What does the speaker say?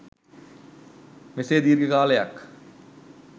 මෙසේ දීර්ඝ කාලයක්